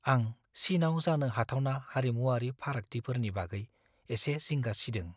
आं चीनआव जानो हाथावना हारिमुआरि फारागथिफोरनि बागै एसे जिंगा सिदों।